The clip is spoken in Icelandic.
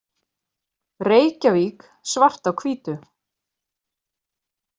Reykjavík: Svart á hvítu.